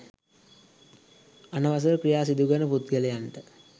අනවසර ක්‍රියා සිදුකරන පුද්ගලයන්ට